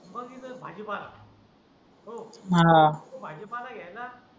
मग येतो भाजीपाला हो तो भाजीपाला घ्यायचा